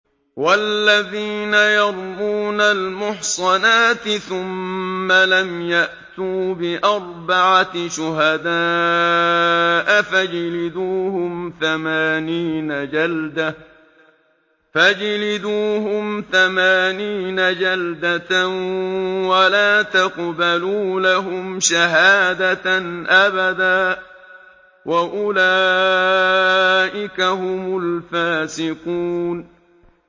وَالَّذِينَ يَرْمُونَ الْمُحْصَنَاتِ ثُمَّ لَمْ يَأْتُوا بِأَرْبَعَةِ شُهَدَاءَ فَاجْلِدُوهُمْ ثَمَانِينَ جَلْدَةً وَلَا تَقْبَلُوا لَهُمْ شَهَادَةً أَبَدًا ۚ وَأُولَٰئِكَ هُمُ الْفَاسِقُونَ